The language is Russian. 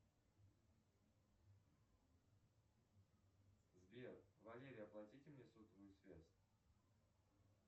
сбер валере оплатите мне сотовую связь